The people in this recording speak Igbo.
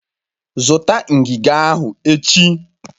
Zụta ngiga ahụ echi!